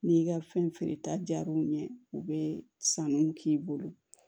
N'i ka fɛn feere ta diyar'u ɲɛ u bɛ sanuw k'i bolo